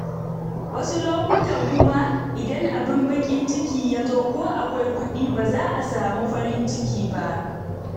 Wasu lokutan kuma, idan abin baƙin ciki ya zo, ko akwai kuɗi ba za a samu farin ciki ba.